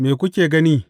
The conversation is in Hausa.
Me kuka gani?